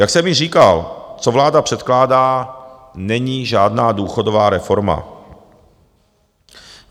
Jak jsem již říkal, co vláda předkládá, není žádná důchodová reforma.